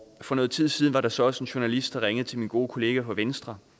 for noget tid siden var der så også en journalist der ringede til min gode kollega fra venstre